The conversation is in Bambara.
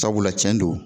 Sabula cɛn do